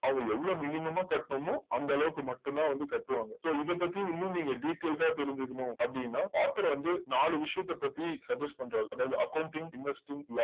அவங்க எவ்ளோ minimum ஆ கட்டனுமோ அந்த அளவுக்கு மட்டும் தான் வந்து கட்டுவாங்க so இத பத்தி இன்னு நீங்க detailed ஆஹ் தெரிஞ்சுக்கணும் அப்டின்ன author வந்து நாலு விஷயத்த பத்தி suggest பண்றாரு அதாவது accounting inversting